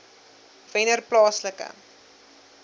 wennerplaaslike